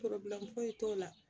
foyi t'o la